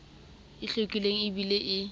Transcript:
e hlwekileng e bileng e